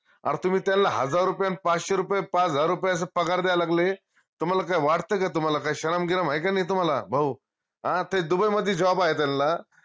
अर तुम्ही त्यांला हजार रुपये न पाचशे रुपये, पाच हजार रुपये अस पगार द्यायला लागले तुम्हाला काय वाटत काय तुम्हाला काय शरम गिराम हाये का नाई तुम्हाला भाऊ आं ते दुबई मदि job आहे त्यांला